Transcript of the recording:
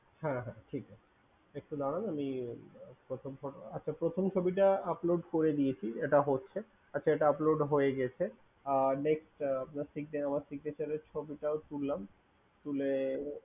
হ্যা হ্যা ঠিক আছে একটু দাড়ান আমি প্রথম ছবিটা upload করে দিয়েছি এটা হচ্ছে আচ্ছা এটা upload হয়ে গেছে next আমার Signature এর ছবিটাও তুললাম তুলে